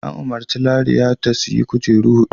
An umarci Raliya ta "Sayi kujeru huɗu!''